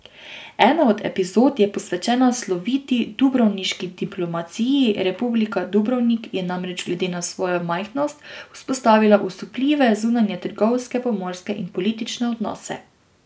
Ena od epizod je posvečena sloviti dubrovniški diplomaciji, republika Dubrovnik je namreč glede na svojo majhnost vzpostavila osupljive zunanje trgovske, pomorske in politične odnose.